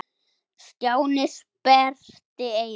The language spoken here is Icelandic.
Stjáni sperrti eyrun.